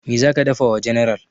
Meh zaka dafa wa general?